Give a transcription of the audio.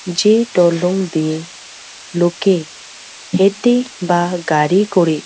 যে টলং দিয়ে লোকে হেটে বা গাড়ি করে--